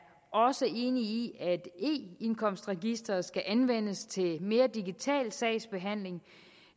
også enig i at eindkomstregisteret skal anvendes til mere digital sagsbehandling